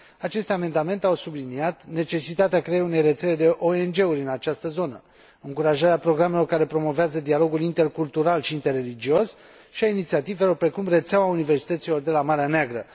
Aceste amendamente au subliniat necesitatea creării unei rețele de ONG uri în această zonă, încurajarea programelor care promovează dialogul intercultural și interreligios și a inițiativelor precum rețeaua universităților de la Marea Neagră.